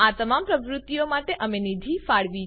આ તમામ પ્રવૃત્તિઓ માટે અમે નિધિ ફાળવી છે